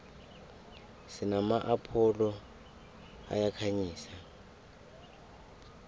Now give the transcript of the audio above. sinama apholo ayakhanyisa